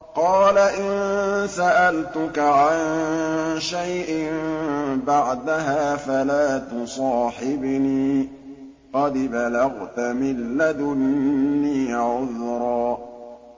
قَالَ إِن سَأَلْتُكَ عَن شَيْءٍ بَعْدَهَا فَلَا تُصَاحِبْنِي ۖ قَدْ بَلَغْتَ مِن لَّدُنِّي عُذْرًا